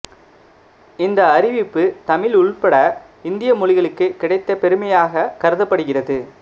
இந்த அறிவிப்பு தமிழ் உள்பட இந்திய மொழிகளுக்கு கிடைத்த பெருமையாக கருதப்படுகிறது